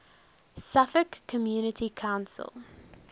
suffolk community council